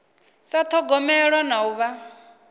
sa thogomelwa na u vha